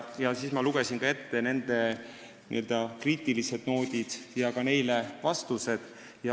Aga ma lugesin ette nende kriitilised noodid ja ka vastused neile.